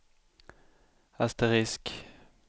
asterisk